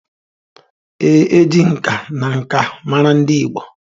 Ee, e ji nka na nka mara ndị Igbo